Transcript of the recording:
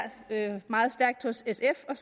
har været meget stærkt hos sf og